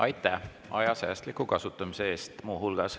Aitäh, seda muu hulgas aja säästliku kasutamise eest!